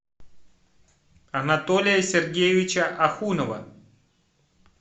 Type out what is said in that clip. анатолия сергеевича ахунова